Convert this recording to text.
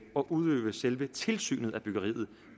at udøve selve tilsynet af byggeriet